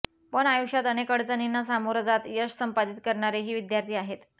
पण आयुष्यात अनेक अडचणींना समोर जात यश संपादित करणारेही विद्यार्थी आहेत